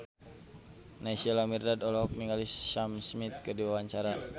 Naysila Mirdad olohok ningali Sam Smith keur diwawancara